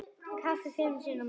Kaffi fimm sinnum á dag.